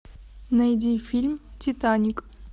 найди фильм титаник